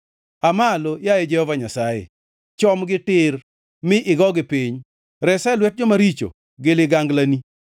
Aa malo, yaye Jehova Nyasaye, chomgi tir, mi igogi piny; resa e lwet joma richo gi liganglani.